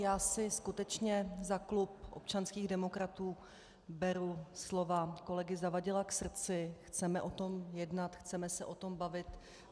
Já si skutečně za klub občanských demokratů beru slova kolegy Zavadila k srdci, chceme o tom jednat, chceme se o tom bavit.